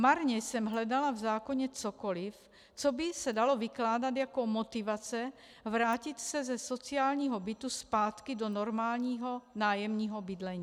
Marně jsem hledala v zákoně cokoliv, co by se dalo vykládat jako motivace vrátit se ze sociálního bytu zpátky do normálního nájemního bydlení.